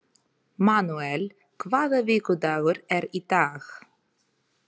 Manúel, hvaða vikudagur er í dag?